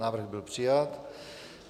Návrh byl přijat.